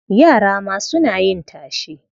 Yara ma suna yin tashe?